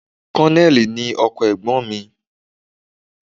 Kọ́nẹ̀lì ni ọkọ ẹ̀gbọ́n mi